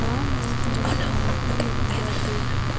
знания очень важны особенно когда ты